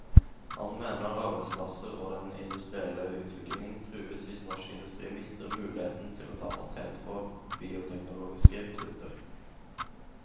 Han mener arbeidsplasser og den industrielle utviklingen trues hvis norsk industri mister muligheten til å ta patent på bioteknologiske produkter.